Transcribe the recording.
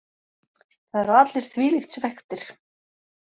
Það eru allir þvílíkt svekktir.